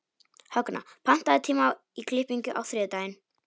Högna, pantaðu tíma í klippingu á þriðjudaginn.